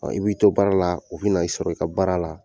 Ɔ I b'i to baara la o bɛna i sɔrɔ i ka baara la